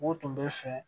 U tun bɛ fɛ